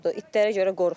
İtlərə görə qorxuram.